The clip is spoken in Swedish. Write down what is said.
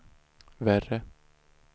värre